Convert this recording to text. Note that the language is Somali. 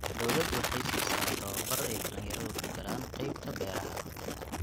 Dawladdu waxay siisaa tabobar ay dhallinyaradu ku galaan qaybta beeraha.